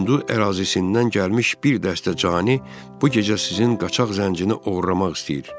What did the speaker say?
Hindu ərazisindən gəlmiş bir dəstə cani bu gecə sizin qaçaq zəncini oğurlamaq istəyir.